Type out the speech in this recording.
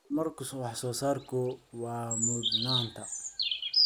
Horumarka wax soo saarku waa mudnaanta.